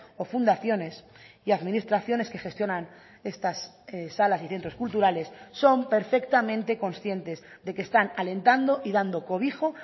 o fundaciones y administraciones que gestionan estas salas y centros culturales son perfectamente conscientes de que están alentando y dando cobijo